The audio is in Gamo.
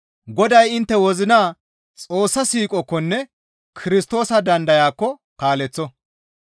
Goday intte wozina Xoossa siiqookkonne Kirstoosa dandayaakko kaaleththo.